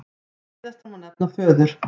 Síðastan má nefna föður